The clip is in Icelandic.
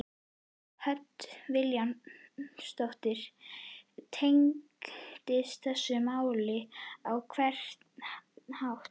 Hödd Vilhjálmsdóttir: Tengistu þessu máli á einhvern hátt?